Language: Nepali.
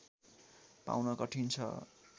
पाउन कठिन छ